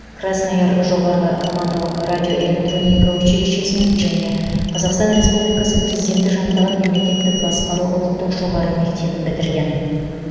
краснояр жоғары командалық радиоэлектроника училищесін және қазақстн республикасы президенті жанындағы мемлекеттік басқару ұлттық жоғары мектебін бітірген